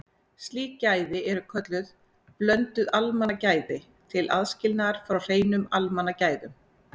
Slík gæði eru kölluð blönduð almannagæði til aðskilnaðar frá hreinum almannagæðum.